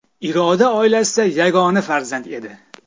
Iroda oilasida yagona farzand edi.